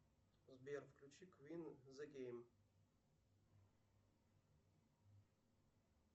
сбер включи квин зэ гейм